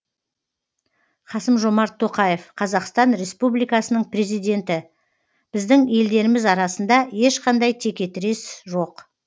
қасым жомарт тоқаев қазақстан республикасының президенті біздің елдеріміз арасында ешқандай текетірес жоқ